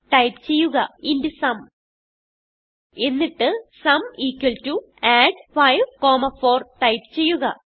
type ചെയ്യുക int sum എന്നിട്ട് sum add54 type ചെയ്യുക